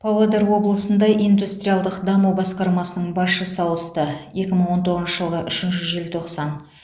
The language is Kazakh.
павлодар облысында индустриалдық даму басқармасының басшысы ауысты екі мың он тоғызыншы жылғы үшінші желтоқсан